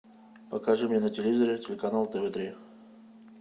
покажи мне на телевизоре телеканал тв три